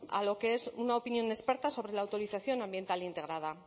a lo que es una opinión experta sobre la autorización ambiental integrada